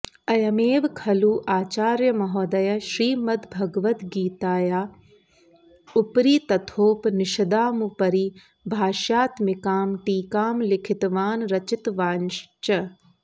अयमेव खलु आचार्यमहोदयः श्रीमद्भगवद्गीताया उपरि तथोप निषदामुपरि भाष्यात्मिकां टीकां लिखितवान् रचितवांश्च